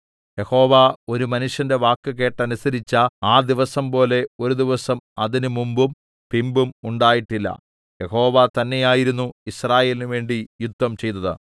യഹോവ ഒരു മനുഷ്യന്റെ വാക്ക് കേട്ടനുസരിച്ച ആ ദിവസം പോലെ ഒരു ദിവസം അതിന് മുമ്പും പിമ്പും ഉണ്ടായിട്ടില്ല യഹോവ തന്നെയായിരുന്നു യിസ്രായേലിനുവേണ്ടി യുദ്ധം ചെയ്തത്